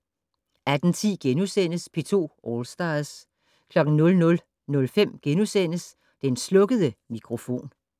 18:10: P2 All Stars * 00:05: Den slukkede mikrofon *